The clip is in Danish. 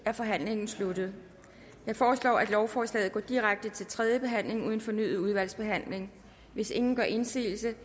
er forhandlingen sluttet jeg foreslår at lovforslaget går direkte til tredje behandling uden fornyet udvalgsbehandling hvis ingen gør indsigelse